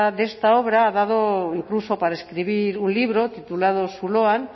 de esta obra ha dado incluso para escribir un libro titulado zuloan